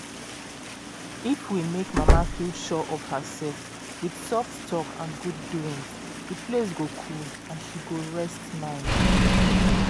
if we make mama feel sure of herself with soft talk and good doings the place go cool and she go rest mind.